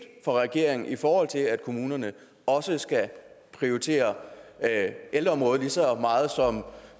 for regeringen i forhold til at kommunerne også skal prioritere ældreområdet lige så meget som